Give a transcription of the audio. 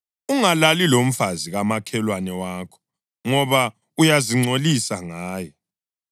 Ungalali lomfazi kamakhelwane wakho ngoba uyazingcolisa ngaye.